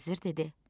Vəzir dedi: